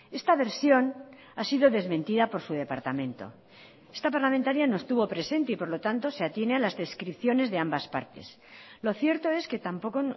esta versión ha sido desmentida por su departamento esta parlamentaria no estuvo presente y por lo tanto se atiene a las descripciones de ambas partes lo cierto es que tampoco